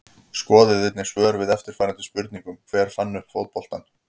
Skoðið einnig svör við eftirfarandi spurningum Hver fann upp fótboltann?